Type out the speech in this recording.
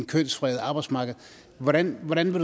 kønsfredet arbejdsmarked hvordan hvordan vil